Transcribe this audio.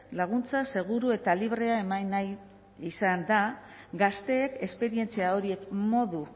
laguntza seguru eta librea eman nahi izan da gazteek esperientzia horiek modu